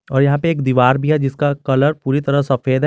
और यहां पे एक दीवार भी है जिसका कलर पूरी तरह सफेद है।